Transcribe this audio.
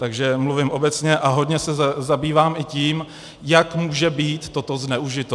Takže mluvím obecně a hodně se zabývám i tím, jak může být toto zneužito.